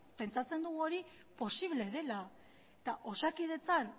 pentsatzen dugu hori posible dela eta osakidetzan